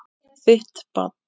Þitt barn.